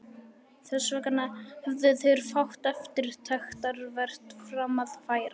Þessvegna hefðu þeir fátt eftirtektarvert fram að færa.